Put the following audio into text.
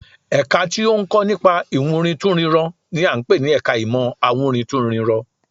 Ẹ̀ka tí ó ń kọ́ nípa ìwúrintúnrinrọ n i à ń pè ní ẹka ìmọ̀ awúrintúnrinrọ